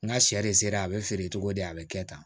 N ka sɛ de sera a bɛ feere cogo di a bɛ kɛ tan